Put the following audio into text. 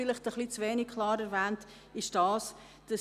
Vielleicht habe ich zu wenig klar darauf hingewiesen.